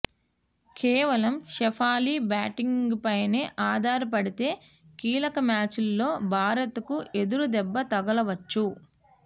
కేవలం షఫాలీ బ్యాటింగ్పైనే ఆధారపడితే కీలక మ్యాచ్లో భారత్కు ఎదురు దెబ్బ తగలవచ్చు